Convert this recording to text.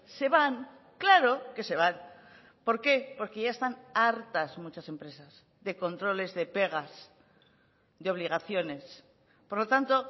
se van claro que se van por qué porque ya están hartas muchas empresas de controles de pegas de obligaciones por lo tanto